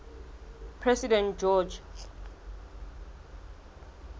president george